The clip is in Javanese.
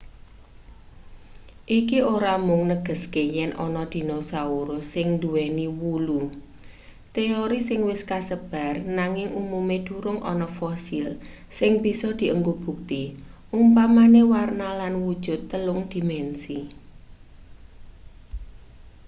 iki ora mung negeske yen ana dinosaurus sing nduweni wulu teori sing wis kasebar nanging umume durung ana fosil sing bisa dienggo bukti umpamane warna lan wujut telung-dimensi